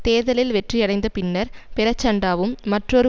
தேர்தலில் வெற்றி அடைந்த பின்னர் பிரச்சண்டாவும் மற்றொரு